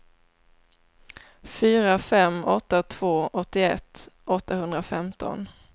fyra fem åtta två åttioett åttahundrafemton